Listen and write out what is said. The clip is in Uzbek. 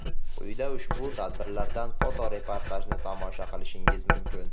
Quyida ushbu tadbirlardan foto-reportajni tomosha qilishingiz mumkin.